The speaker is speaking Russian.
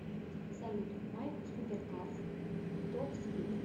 салют майк суперкарс топспид